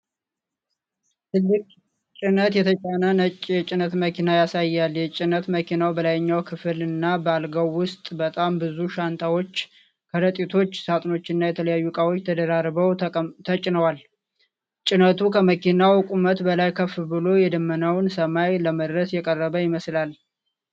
ትልቅ ጭነት የተጫነ ነጭ የጭነት መኪና ያሳያል። የጭነት መኪናው በላይኛው ክፍል እና በአልጋው ውስጥ በጣም ብዙ ሻንጣዎች፣ ከረጢቶች፣ ሳጥኖችና የተለያዩ እቃዎች ተደራርበው ተጭነዋል። ጭነቱ ከመኪናው ቁመት በላይ ከፍ ብሎ የደመናውን ሰማይ ለመድረስ የቀረበ ይመስላል።